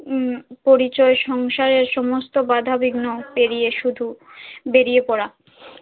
উম পরিচয় সংসারে সমস্ত বাধা বিঘ্ন পেরিয়ে শুধু বেরিয়ে পরা।